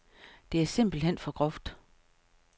Det er simpelthen for groft.